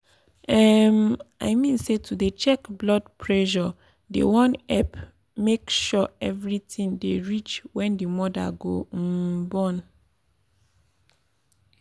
emm i mean say to dey check blood presure dey um epp make sure evri tin dey reach wen d moda go um born.